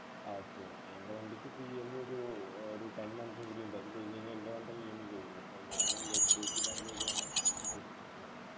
okay okay എൻ്റെ വണ്ടിക്കിപ്പോ EMI ഒരു ഏർ ഒരു ten months ഉം കൂടി ഉണ്ട് അത് കഴിഞ്ഞ് കഴിഞ്ഞാ എൻ്റെ മാത്രം EMI കഴിഞ്ഞു പ്പോ ഞാനും HDFC Bank വഴിയാണ് ഇത്